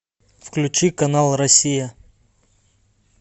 включи канал россия